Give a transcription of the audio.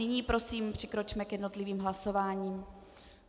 Nyní prosím přikročme k jednotlivým hlasováním.